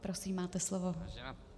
Prosím, máte slovo.